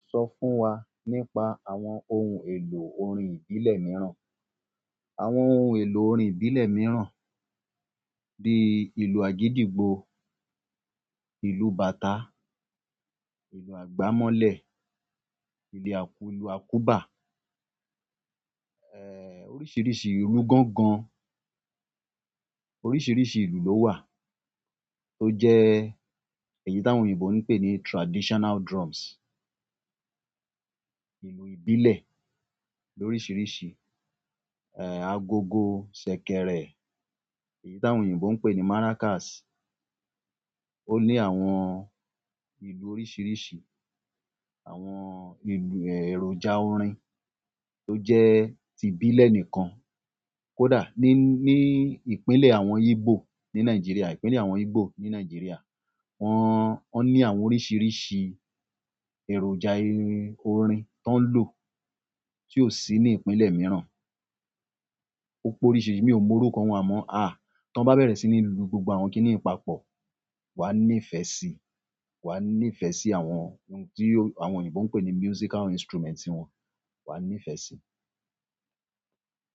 Sọ fún wa nípa àwọn ohun èlò orin ìbílẹ̀ mìíràn. Àwọn ohun èlò orin ìbílẹ̀ mìíràn bíi ìlù àgídìgbo, ìlù bàtà, ìlù àgbámọ́lẹ̀, ìlẹ̀ àkù, ìlù àkúbà, oríṣiríṣi ìlù gángan, oríṣiríṣi ìlù ló wà tó jẹ́ èyí tí àwọn òyìnbó ń pè ní traditional drums. Ìlù ìbílẹ̀ lóríṣiríṣi, agogo, ṣẹ̀kẹ̀rẹ̀, èyí tí àwọn òyìnbó ń pè ní maracas. Ó ní àwọn ìlù oríṣiríṣi, àwọn ìlù èròjà orin tó jẹ́ ti ìbílẹ̀ nìkan. Kódà ní, ní ìpínlẹ̀ àwọn Igbo ní Nàìjíríà, ìpínlẹ̀ àwọn Igbo ní Nàìjíríà, wọ́n, wọ́n ní àwọn oríṣiríṣi èròjà orin tó ń lò tí ó sì ní ìpínlẹ̀ mìíràn. Ó pe oríṣiríṣi mi ò mọ orúkọ wọn amọ́. À, tí wọ́n bá bẹ̀rẹ̀ sí ní lu gbogbo àwọn kíní i papọ̀, wà á nífẹ̀ẹ́ sí, wà á nífẹ̀ẹ́ sí àwọn ohun tí àwọn òyìnbó ń pè ní musical instruments wọn, wà á nífẹ̀ẹ́ sí.